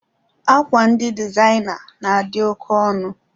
Akwa ndị dịzaina na-adị oke ọnụ